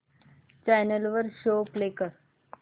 channel वर show play कर